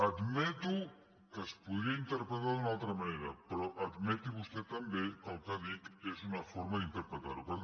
admeto que es podria interpretar d’una altra manera però admeti vostè també que el que dic és una for·ma d’interpretar·ho